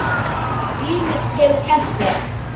Líf mitt hefur kennt mér.